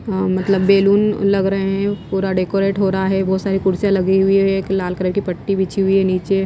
अ मतलब बैलून लग रहे हैं पूरा डेकोरेट हो रहा है बहुत सारी कुर्सियाँ लगी हुई है एक लाल कलर की पट्टी बिछी हुई है नीचे--